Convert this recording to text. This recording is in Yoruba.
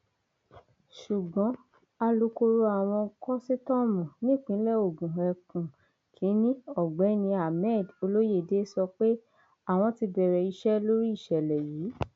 ṣùgbọn alūkkoro àwọn kòsítọọmù nípìnlẹ ogun ẹkùn kìnínní ọgbẹni hammed olóyédè sọ pé àwọn ti bẹrẹ iṣẹ lórí ìṣẹlẹ yìí